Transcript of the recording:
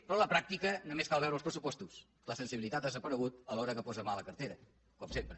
però a la pràctica només cal veure els pressupostos la sensibilitat ha desaparegut a l’hora que posa mà a la cartera com sempre